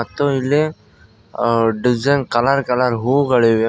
ಮತ್ತು ಇಲ್ಲಿ design colour colour ಹೂಗಳಿವೆ.